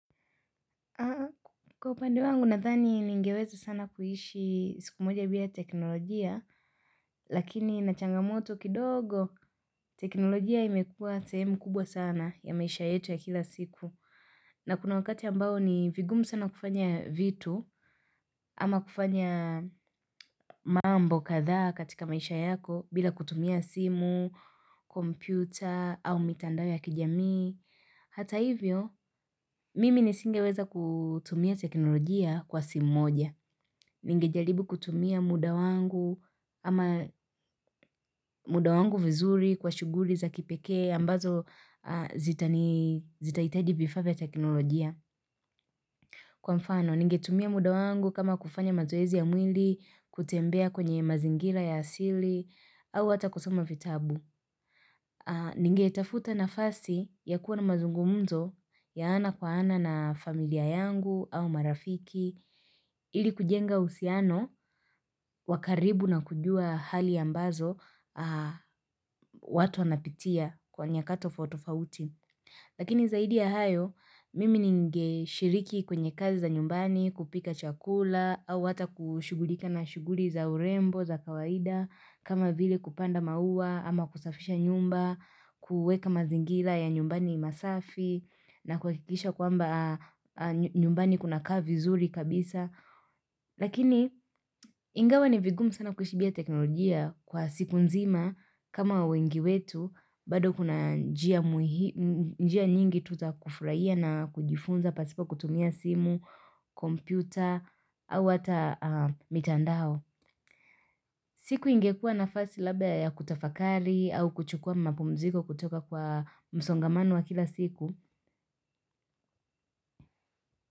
Kwa upande wangu nadhani ningeweza sana kuishi siku moja bila teknolojia Lakini na changa moto kidogo teknolojia imekuwa sehemu kubwa sana ya maisha yetu ya kila siku na kuna wakati ambao ni vigumu sana kufanya vitu ama kufanya mambo kadhaa katika maisha yako bila kutumia simu, kompyuta au mitandao ya kijamii Hata hivyo mimi nisingeweza kutumia teknolojia kwa simu moja Ninge jaribu kutumia muda wangu ama muda wangu vizuri kwa shuguri za kipeke ambazo zitaitaji vifaa vya teknolojia. Kwa mfano, ningetumia muda wangu kama kufanya mazoezi ya mwili kutembea kwenye mazingira ya asili au hata kusoma vitabu. Ningetafuta nafasi ya kuwa na mazungumzo ya ana kwa ana na familia yangu au marafiki. Ili kujenga uhusiano wa karibu na kujua hali ambazo watu wanapitia kwa nyakato tofauti. Lakini zaidi ya hayo, mimi ningshiriki kwenye kazi za nyumbani, kupika chakula, au ata kushugulika na shuguli za urembo, za kawaida, kama vile kupanda maua, ama kusafisha nyumba, kueka mazingila ya nyumbani masafi, na kuhakikisha kwamba nyumbani kuna kaa vizuri kabisa. Lakini ingawa ni vigumu sana kuishi bila teknolojia kwa siku nzima kama wengi wetu bado kuna njia nyingi tu za kufraia na kujifunza pasipo kutumia simu, kompyuta au hata mitandao siku ingekuwa nafasi labda ya kutafakali au kuchukua mapumziko kutoka kwa msongamano wa kila siku.